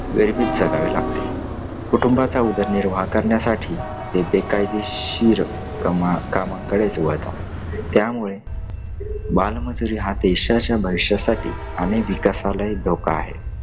गरिबीत जगावे लागते. कुटुंबाचा उदरनिर्वाह करण्यासाठी ते बेकायदेशीर कमा कामाकडेच वळतात. त्यामुळे बालमजुरी हा देशाच्या भविष्यासाठी आणि विकासालाही धोका आहे.